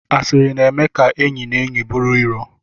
Asịrị na-eme ka enyi na enyi bụrụ iro